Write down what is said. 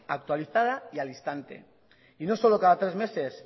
actualizada y al instante y no solo cada tres meses